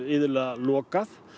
lokað